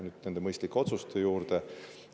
Nüüd nende mõistlike otsuste juurde.